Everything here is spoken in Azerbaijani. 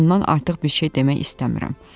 Bundan artıq bir şey demək istəmirəm.